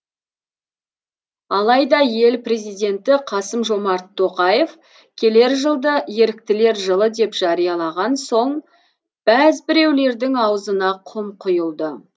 алайда ел президенті қасым жомарт тоқаев келер жылды еріктілер жылы деп жариялаған соң бәз біреулердің аузына құм құйылды